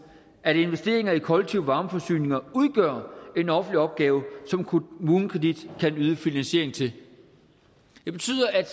at investeringer i kollektive varmeforsyninger udgør en offentlig opgave som kommunekredit kan yde finansiering til det betyder at